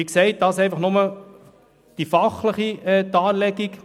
Wie gesagt, ist das nur die fachliche Darlegung.